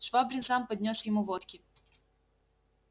швабрин сам поднёс ему водки